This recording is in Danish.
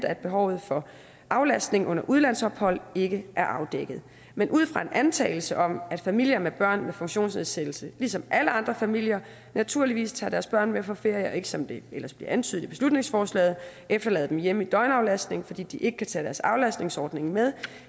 at behovet for aflastning under udlandsophold ikke er afdækket men ud fra en antagelse om at familier med børn med funktionsnedsættelse ligesom alle andre familier naturligvis tager deres børn med på ferier og ikke som det ellers bliver antydet i beslutningsforslaget efterlader dem hjemme i døgnaflastning fordi de ikke kan tage deres aflastningsordning med